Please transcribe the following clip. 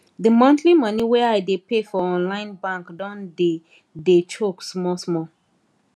the monthly money wey i dey pay for online bank don dey dey choke small small